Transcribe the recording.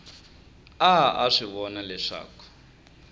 a a swi vona leswaku